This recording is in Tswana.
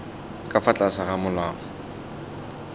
ka fa tlase ga molao